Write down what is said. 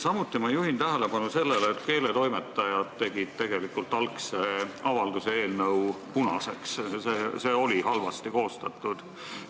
Samuti juhin tähelepanu sellele, et keeletoimetajad tegid algse avalduse eelnõu punaseks, sest see oli halvasti koostatud.